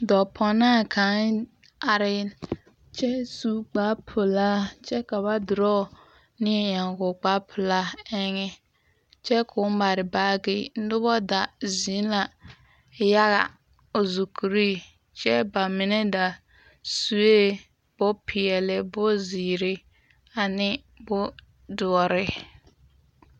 Dɔɔpɔnaa kaŋ are kyɛ su kparpelaa kyɛ ka ba draw neɛ eŋ o kparpelaa eŋɛ kyɛ ko o mare baagi noba da zeŋ la yaga o zukureŋ kyɛ ba mine da sue bompeɛle bomziire ane ane bomdoɔre.